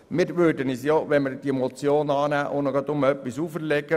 Mit der Annahme der Motion würden wir uns etwas auferlegen.